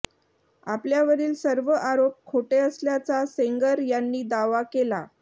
आपल्यावरील सर्व आरोप खोटे असल्याचा सेंगर यांनी दावा केला